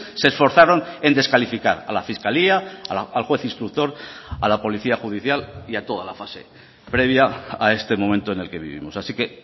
se esforzaron en descalificar a la fiscalía al juez instructor a la policía judicial y a toda la fase previa a este momento en el que vivimos así que